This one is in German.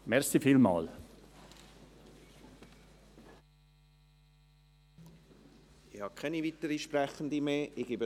Ich habe keine weiteren Sprechenden mehr auf der Liste.